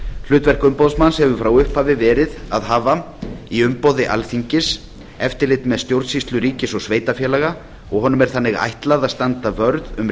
hlutverk umboðsmanns hefur frá upphafi verið að hafa í umboði alþingis eftirlit með stjórnsýslu ríkis og sveitarfélaga og honum er þannig ætlað að standa vörð um